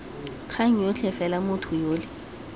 kgang yotlhe fela motho yole